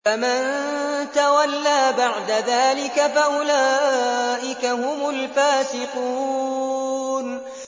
فَمَن تَوَلَّىٰ بَعْدَ ذَٰلِكَ فَأُولَٰئِكَ هُمُ الْفَاسِقُونَ